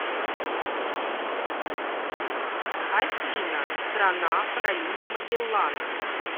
афина страна пролив магеллана